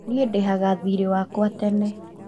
Niĩ ndĩhaga thiirĩ wakwa tene